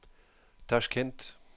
Tashkent